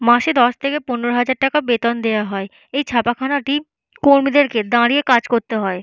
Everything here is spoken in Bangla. মাসে দশ থেকে পনেরো হাজার টাকা বেতন দেওয়া হয়। এই ছাপাখানাটি কর্মীদেরকে দাঁড়িয়ে কাজ করতে হয়।